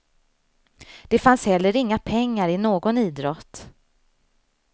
Det fanns heller inga pengar i någon idrott.